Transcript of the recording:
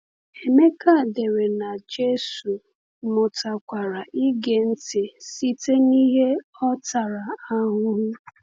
Emeka dere na Jésù “mụtakwara ịge ntị site n’ihe ọ tara ahụhụ."